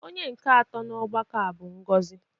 Onye nke atọ n'ọgbakọ a bụ Ngozi.